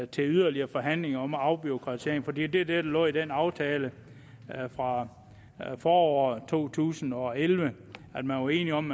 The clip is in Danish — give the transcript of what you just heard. til yderligere forhandlinger om afbureaukratisering for det var det der lå i den aftale fra foråret to tusind og elleve man var enige om